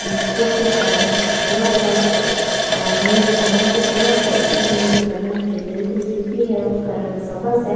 कुर्सियों का रंग सुर्ख है और मेज का रंग भी सुर्ख है और मेज का रंग जो बिल्कुल है उसका रंग भी सब्ज है।